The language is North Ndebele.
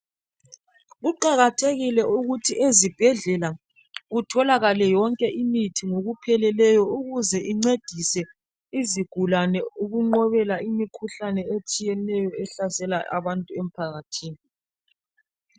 Kuqakathekile ukuthi ezibhedlela kutholakale yonke imithi ngokupheleleyo ukuze incedise izigulane ukunqobela imikhuhlane etshiyeneyo ehlasela abantu emphakathini.